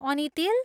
अनि तेल!